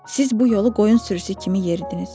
Siz bu yolu qoyun sürüsü kimi yeridiniz.